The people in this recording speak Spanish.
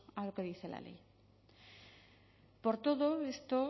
a lo que dice la ley por todo esto